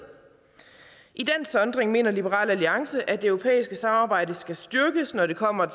i den sondring mener liberal alliance at det europæiske samarbejde skal styrkes når det kommer